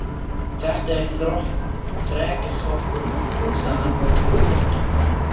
Þetta er þrekskrokkur, hugsaði hann með öfund.